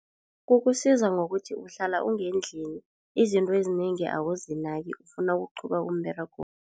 Kukusiza ngokuthi uhlala ungendlini izinto ezinengi awuzinaki ufuna ukuqhuba umberego.